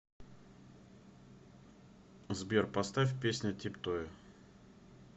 сбер поставь песня тип тое